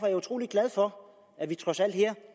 jeg utrolig glad for at vi trods alt her